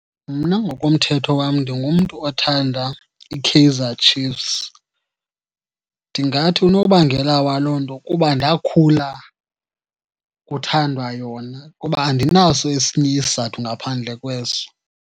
Mna ngokomthetho wam ndingumntu othanda iKaizer Chiefs. Ndingathi unobangela waloo nto kuba ndakhula kuthandwa yona kuba andinaso esinye isizathu ngaphandle kweso.